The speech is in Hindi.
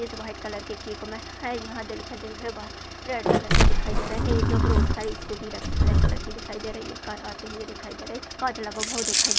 इस वाइट कलर के केक में है यहां दिल पर दिल है रेड कलर के दिखाई दे रहा है एक ब्रोड का स्कूटी रखी ब्लैक कलर की दिखाई दे रही है कार आते हुए दिखाई दे रहे है काच लगा हुआ दिखयि दे --